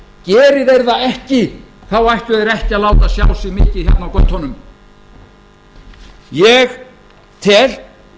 geri þeir það ekki ættu þeir ekki að láta sjá sig mikið hérna á götunum ég tel